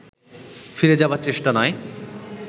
ফিরে যাবার চেষ্টা নয়